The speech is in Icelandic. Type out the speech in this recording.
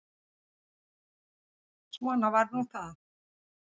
Svona var nú það.